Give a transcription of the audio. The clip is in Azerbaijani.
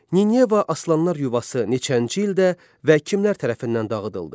Nineva Aslanlar yuvası neçənci ildə və kimlər tərəfindən dağıdıldı?